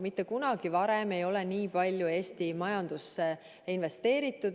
Mitte kunagi varem ei ole nii palju Eesti majandusse investeeritud.